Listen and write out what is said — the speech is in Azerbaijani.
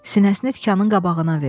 Sinəsini tikanın qabağına verdi.